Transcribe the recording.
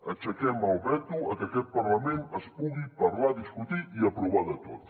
aixequem el veto a que a aquest parlament es pugui parlar discutir i aprovar de tot